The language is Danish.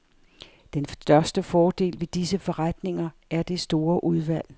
Den største fordel ved disse forretninger er det store udvalg.